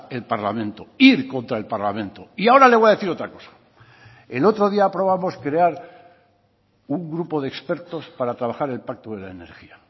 el parlamento ir contra el parlamento y ahora le voy a decir otra cosa el otro día aprobamos crear un grupo de expertos para trabajar el pacto de la energía